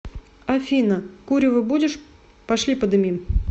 афина курево будешь пошли подымим